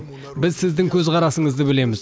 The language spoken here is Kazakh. біз сіздің көзқарасыңызды білеміз